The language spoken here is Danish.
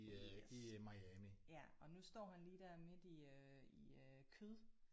Yes. Ja og nu står han lige der midt i øh i øh kød